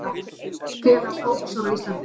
Félag prófessora á Íslandi.